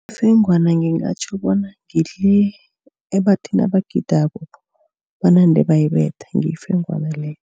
Ifengwana ngingatjho bona ngile ebathi nabagidako banande bayibetha ngiyo ifengwana leyo.